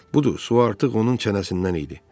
Budur, su artıq onun çənəsindən idi.